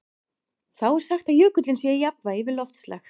Þá er sagt að jökullinn sé í jafnvægi við loftslag.